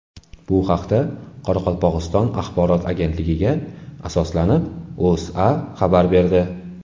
Bu haqda, Qoraqalpog‘iston axborot agentligiga asoslanib, O‘zA xabar berdi .